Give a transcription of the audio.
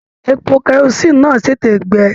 Èpò kerosiini náà tètè gbẹ.